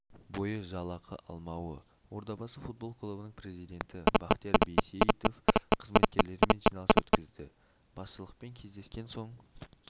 бойы жалақы алмауы ордабасы футбол клубының президенті бақтияр байсейітов қызметкерлерімен жиналыс өткізді басшылықпен кездескен соң